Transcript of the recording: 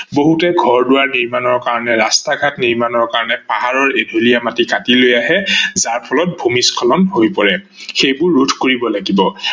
বহুতে ঘৰ-দোৱাৰ নিৰ্মানৰ কাৰনে বাবে ৰাস্তা ঘাট নিৰ্মানৰ কাৰনে পাহাৰৰ এধলীয়া মাটি কাতি লৈ আহে যাৰ ফলত ভূমিস্খলন হৈ পৰে, সেইবোৰ ৰোধ কৰিব লাগিব